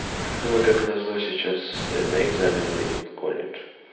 ну мы как назло сейчас на экзамены выйдем в колледж